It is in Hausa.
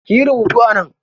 Kiyi rubutu a nan.